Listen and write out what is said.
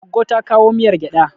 Goggo ta kowa miyar gyaɗa.